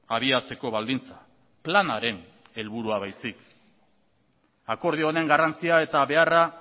abiatzeko baldintza planaren helburua baizik akordio honen garrantzia eta beharra